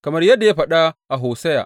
Kamar yadda ya faɗa a Hosiya.